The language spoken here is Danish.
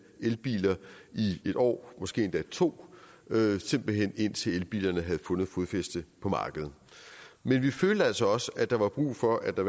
elbiler i en år måske endda to simpelt hen indtil elbilerne havde fundet fodfæste på markedet men vi følte altså også at der var brug for at der